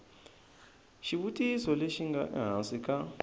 xivutiso lexi nga ehansi ka